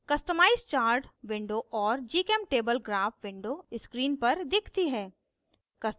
customize chart window और gchemtable graph window screen पर दिखती है